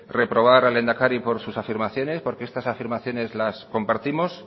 reprobar al lehendakari por sus afirmaciones porque estas afirmaciones las compartimos